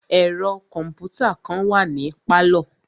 Ẹ̀ro kọ̀mpútà kàn wà ní pálọ̀.